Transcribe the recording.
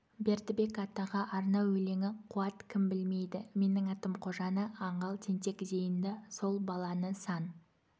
бердібек атаға арнау өлеңі қуат кім білмейді менің атым қожаны аңғал тентек зейінді сол баланы сан